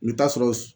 I bɛ taa sɔrɔ